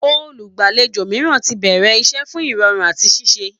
Olùgbàlejò mìíràn ti bẹ̀rẹ̀ iṣẹ́ fún ìrọ̀rùn àti ṣiṣẹ́